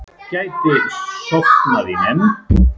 Gæti sofnað í nefnd